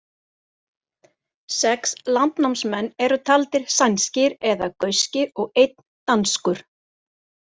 Sex landnámsmenn eru taldir sænskir eða gauskir og einn danskur.